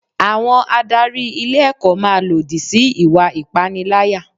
Àwọn adarí ilé ẹ̀kọ́ máa lòdì sí ìwà ìpaniláyà.